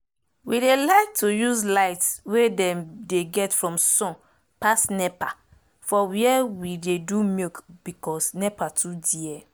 we dey like to use light wey dem dey get from sun pass nepa for were we dey do milk becos nepa too dear